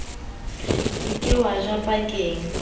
se ke wa ja pakeng